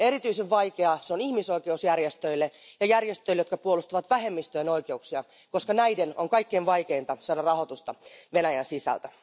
Erityisen vaikeaa se on ihmisoikeusjärjestöille ja järjestöille, jotka puolustavat vähemmistöjen oikeuksia, koska näiden on kaikkein vaikeinta saada rahoitusta Venäjän sisältä.